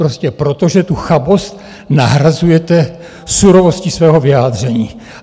Prostě proto, že tu chabost nahrazujete surovostí svého vyjádření.